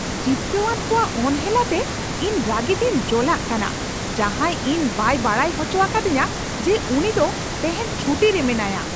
ᱡᱤᱵᱠᱟᱹᱣᱟᱱ ᱠᱚᱣᱟᱜ ᱚᱱᱦᱮᱞᱟᱛᱮ ᱤᱧ ᱨᱟᱹᱜᱤᱛᱤᱧ ᱡᱚᱞᱟᱜ ᱠᱟᱱᱟ ᱡᱟᱦᱟᱸᱭ ᱤᱧ ᱵᱟᱭ ᱵᱟᱰᱟᱭ ᱦᱚᱪᱚ ᱟᱠᱟᱫᱤᱧᱟᱹ ᱡᱮ ᱩᱱᱤ ᱫᱚ ᱛᱮᱦᱮᱧ ᱪᱷᱩᱴᱤᱨᱮ ᱢᱮᱱᱟᱭᱟ ᱾